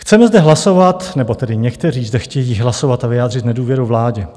Chceme zde hlasovat - nebo tedy někteří zde chtějí hlasovat a vyjádřit nedůvěru vládě.